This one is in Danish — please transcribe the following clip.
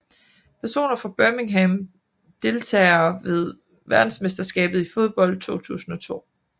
Personer fra Birmingham Deltagere ved verdensmesterskabet i fodbold 2002